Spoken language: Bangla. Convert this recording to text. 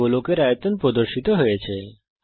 গোলকের আয়তন এখানে প্রদর্শিত হচ্ছে